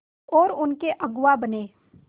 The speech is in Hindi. और उनके अगुआ बने